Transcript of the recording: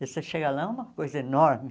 E você chega lá, é uma coisa enorme.